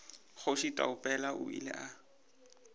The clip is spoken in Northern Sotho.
kgoši taupela o ile a